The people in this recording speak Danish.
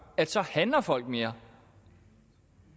at så handler folk mere